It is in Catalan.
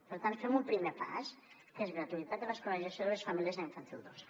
per tant fem un primer pas que és gratuïtat de l’escolarització de les famílies a infantil dos